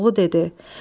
Koroğlu dedi: